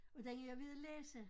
Og den er jeg ved at læse